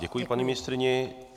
Děkuji paní ministryni.